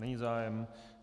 Není zájem.